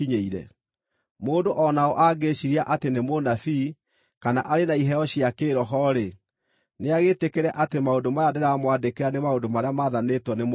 Mũndũ o na ũ angĩĩciiria atĩ nĩ mũnabii, kana arĩ na iheo cia kĩĩroho-rĩ, nĩagĩtĩkĩre atĩ maũndũ maya ndĩramwandĩkĩra nĩ maũndũ marĩa maathanĩtwo nĩ Mwathani.